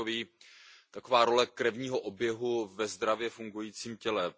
Je to taková role krevního oběhu ve zdravě fungujícím těle.